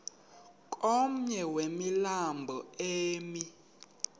komnye wemilambo emi